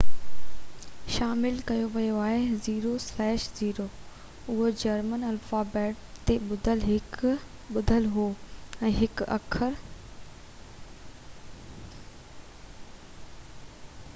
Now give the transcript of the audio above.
اهو German alphabet تي ٻڌل هو ۽ هڪ اکر õ/õ شامل ڪيو ويو هو